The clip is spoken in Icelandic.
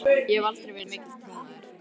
Ég hef aldrei verið mikill trúmaður.